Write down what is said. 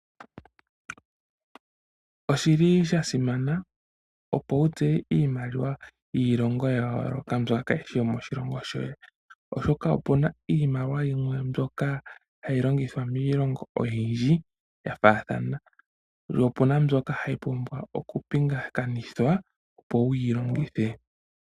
Oshi li sha simana opo wu tseye iimaliwa yiilongo yayololoka mbyoka kayi shi yomoshilongo shoye , oshoka opu na iimaliwa yimwe mbyoka hayi longithwa miilongo oyindji ya fathana. Opu na wo mbyoka hayi vulu oku pingakanithwa opo wuyi longithe.